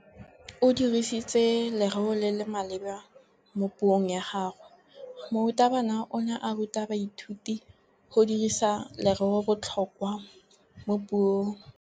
O dirisitse lerêo le le maleba mo puông ya gagwe. Morutabana o ne a ruta baithuti go dirisa lêrêôbotlhôkwa mo puong.